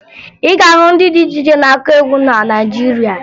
Ị ga-ahụ ndị dị iche iche na-akụ egwu na Naịjirịa